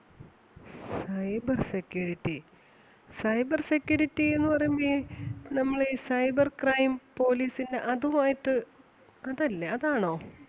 Cyber security, cyber security ന്ന് പറയുമ്പോ ഈ നമ്മളീ cyber crime police ന്റെ അതുമായിട്ട്, അതല്ലേ അതാണോ?